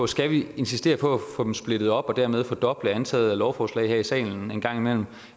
skal insistere på at få dem splittet op og dermed fordoble antallet af lovforslag her i salen